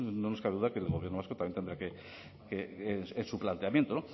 no nos cabe duda que el gobierno vasco también tendrá que es su planteamiento